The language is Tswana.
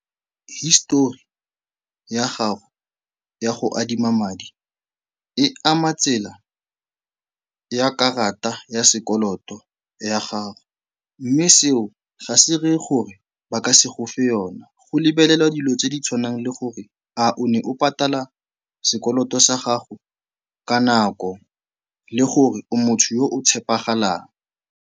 Histori ya gago ya go adima madi e ama tsela ya karata ya sekoloto ya gago mme seo ga se reye gore ba ka se go fe yona. Go lebelelwa dilo tse di tshwanang le gore a o ne o patala sekoloto sa gago ka nako le gore o motho yo o tshepagalang.